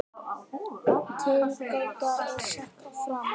Tilgáta er sett fram.